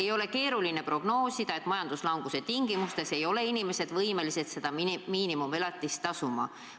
Ei ole keeruline prognoosida, et majanduslanguse tingimustes ei ole inimesed võimelised miinimumelatist tasuma.